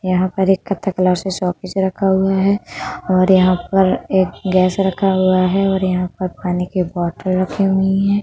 यहाँ पर एक कत्था कलाव से शोपिश रखा हुआ है और यहाँ पर एक गैस रखा हुआ है और यहाँ पर पानी की बौटल रखी हुईं है।